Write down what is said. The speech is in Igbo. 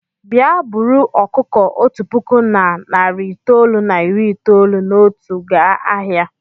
Bịa buru ọkụkọ otu puku na narị itoolu na iri itoolu na otu gaa ahịa!